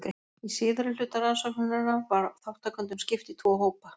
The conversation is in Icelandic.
Í síðari hluta rannsóknarinnar var þátttakendum skipt í tvo hópa.